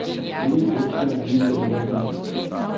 O drugih opcijah ni želel razmišljati.